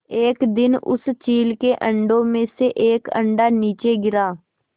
एक दिन उस चील के अंडों में से एक अंडा नीचे गिरा